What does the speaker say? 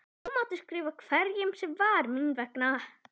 Hún mátti skrifa hverjum sem var mín vegna.